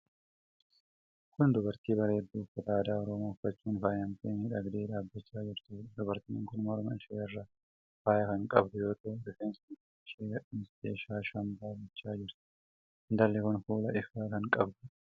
Kun dubartii bareedduu uffata aadaa Oromoo uffachuun faayamtee miidhagdee dhaabbachaa jirtuudha. Dubartiin kun morma ishee irraas faaya kan qabdu yoo ta'u, rifeensa mataa ishee gadhiistee shaa shambaa gochaa jirti. Intalli kun fuula ifaa kan qabduudha.